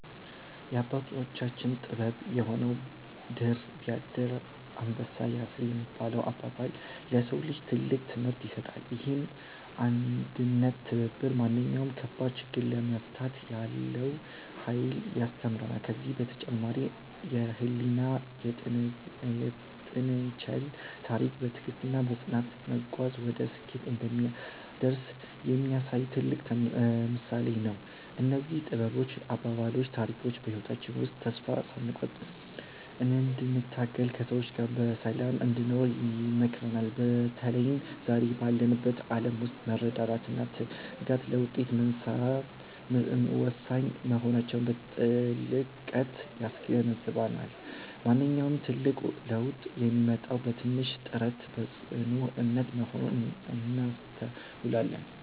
የአባቶቻችን ጥበብ የሆነው "ድር ቢያብር አንበሳ ያስር" የሚለው አባባል፣ ለሰው ልጅ ትልቅ ትምህርት ይሰጣል። ይህም አንድነትና ትብብር ማንኛውንም ከባድ ችግር ለመፍታት ያለውን ኃይል ያስተምረናል። ከዚህም በተጨማሪ የኤሊና የጥንቸል ታሪክ፣ በትዕግስትና በጽናት መጓዝ ወደ ስኬት እንደሚያደርስ የሚያሳይ ትልቅ ምሳሌ ነው። እነዚህ ጥበባዊ አባባሎችና ታሪኮች በህይወታችን ውስጥ ተስፋ ሳንቆርጥ እንድንተጋና ከሰዎች ጋር በሰላም እንድንኖር ይመክሩናል። በተለይም ዛሬ ባለንበት ዓለም ውስጥ መረዳዳትና ትጋት ለውጤታማነት ወሳኝ መሆናቸውን በጥልቀት ያስገነዝቡናል። ማንኛውም ትልቅ ለውጥ የሚመጣው በትንሽ ጥረትና በጽኑ እምነት መሆኑን እናስተውላለን።